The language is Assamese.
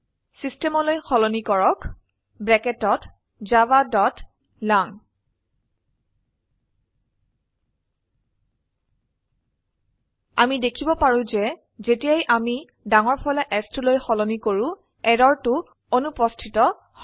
চিষ্টেম লৈ সলনি কৰক javaলাং আমি দেখিব পাৰো যে যেতিয়াই আমি ডাঙৰফলা S টোলৈ সলনি কৰো এৰৰটো অনুপস্থিত হয়